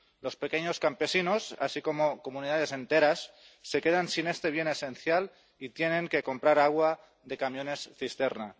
Los pequeños campesinos, así como comunidades enteras, se quedan sin este bien esencial y tienen que comprar agua de camiones cisterna.